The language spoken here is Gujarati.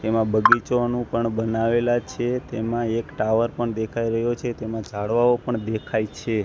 તેમા બગીચોનુ પણ બનાવેલા છે તેમા એક ટાવર પણ દેખાય રહ્યો છે તેમા ઝાડવાઓ પણ દેખાય છે.